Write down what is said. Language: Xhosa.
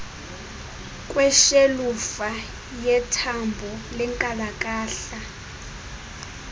kweshelufa yethambo lenkalakahla